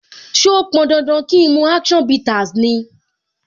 So pọn dandan kín mu action bitters ni?